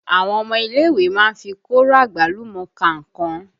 Àwọn ọmọ ilé ìwé má ń fi kóro àgbálùmọ́ ka nǹkan